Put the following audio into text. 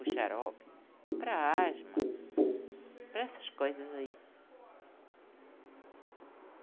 O xarope, para asma, para essas coisas aí.